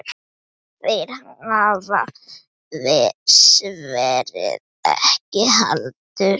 Þeir hafa svarið ekki heldur.